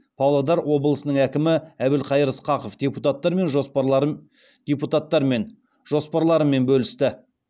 павлодар облысының әкімі әбілқайыр сқақов депутаттармен жоспарларымен бөлісті